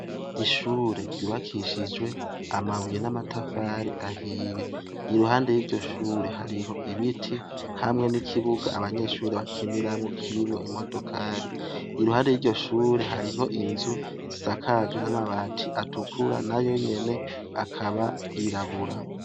Ishure ryubakishijwe amabuye n'amatafari ahiye. Iruhande y'iryo shure hariho ibiti hamwe n'ikibuga abanyeshure bakiniramwo, kirimwo imodokari. Iruhande y'iryo shure hariho inzu zisakajwe n'amabati atukura nayo nyene akaba yirabura.